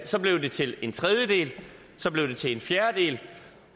så blev det til en tredjedel så blev det til en fjerdedel